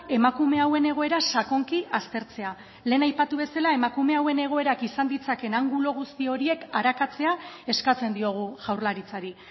emakume hauen egoera sakonki aztertzea lehen aipatu bezala emakume hauen egoerak izan ditzaken angulo guzti horiek arakatzea eskatzen diogu jaurlaritzari